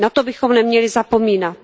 Na to bychom neměli zapomínat.